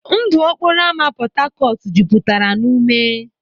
Ndụ okporo ámá Port Harcourt jupụtara na ume.